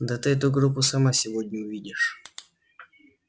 да ты эту группу сама сегодня увидишь